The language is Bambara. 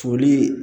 Foli